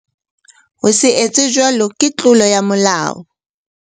Ho se etse jwalo ke tlolo ya molao.